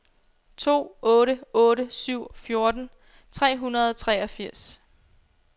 to otte otte syv fjorten tre hundrede og treogfirs